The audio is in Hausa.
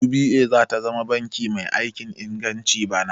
UBA zata zama banki mai aikin inganci bana